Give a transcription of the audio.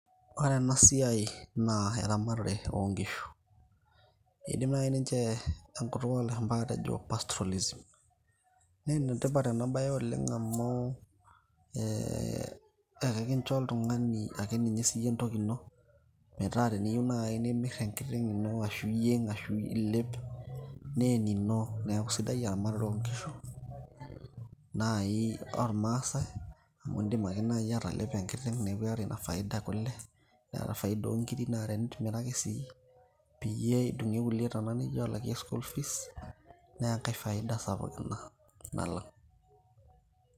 ore enasia naa eramatare oo nkishu idim naji ninche enkutuk oo lashumba atejo CS[pastrolism]CS naa enetipat enabaye oleng amuu, ekincho oltung'ani ake siiyie entoki ino metaa teniyie nimirr enkiteng' ino arashu iyieng arashu ilep naa enino neeku sidai eramatare oo nkishu naaji oo irmaasai idim ake naaji atalepo enkiteng' neeku iata ina faida e kule neeta faida oo inkirik naa tenitimira ake sii peyie idung'ie kulie tana nijo alakie CS[school fees]CS naa enkai faida sapuk ina nalak'